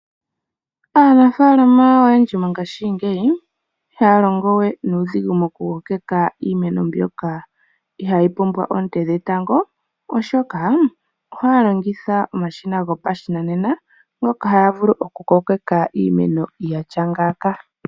Aanafaalama oyendji mongaashingeyi ihaya longo we nuudhigu moku kokeka iimeno mbyoka ihayi pumbwa oonte dhetango, oshoka ohaya longitha omashina gopashinanena, ngoka haya vulu oku kokeka iimeno yatya ngaaka.